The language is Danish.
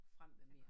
Frem med mere